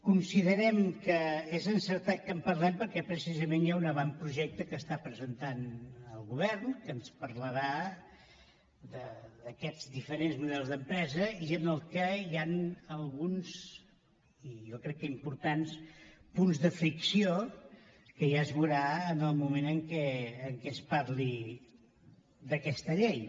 considerem que és encertat que en parlem perquè precisament hi ha un avantprojecte que està presentant el govern que ens parlarà d’aquests diferents models d’empresa i en el qual hi han alguns i jo crec que importants punts de fricció que ja es veuran en el moment en què es parli d’aquesta llei